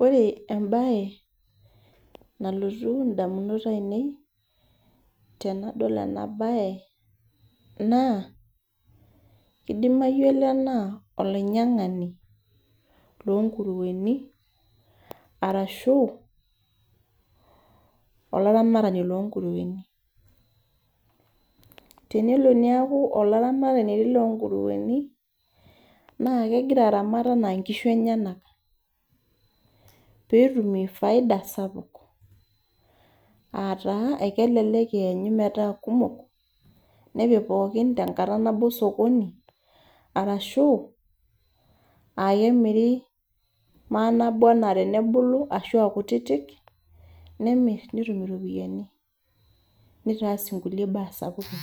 Ore ebae, nalotu indamunot ainei, tenadol ebae, naa, idimayu ele naa olainyang'ani lonkurueni, arashu olaramatani lonkurueni. Tenelo niaku olaramatani lonkurueni, na kegira aramat enaa nkishu enyanak. Petumie faida sapuk. Ataa ekelelek enyu metaa kumok, nepik pookin tenkata nabo sokoni, arashu, akemiri manabo enaa tenebulu ashua akutitik, nemir netum iropiyiani. Nitaas inkulie baa sapukin.